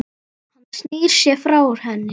Hann snýr sér frá henni.